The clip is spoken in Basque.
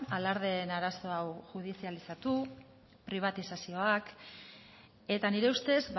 alardeen arazo hau judizializatu pribatizazioak eta nire ustez